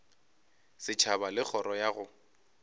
setšhaba le kgoro ya go